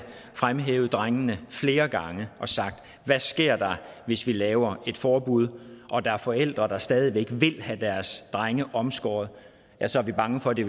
fremhævet drengene flere gange og sagt hvad sker der hvis vi laver et forbud og der er forældre der stadig væk vil have deres drenge omskåret ja så er vi bange for at det